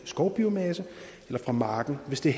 skovbiomasse eller fra marken hvis det